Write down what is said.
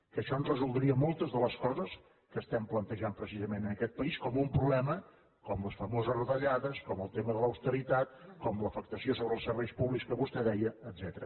que això ens resoldria moltes de les coses que estem plantejant precisament en aquest país com un problema com les famoses retallades com el tema de l’austeritat com l’afectació sobre els serveis públics que vostè deia etcètera